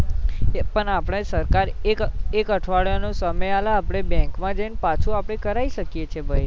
પણ આપડે સરકાર એક એક અઢવાડિયા નો સમય આલે આપડે bank આપડા જઈને પાછુ આપડે કરાઈ શકીએ છીએ ભાઈ